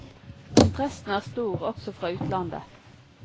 Interessen er stor også fra utlandet.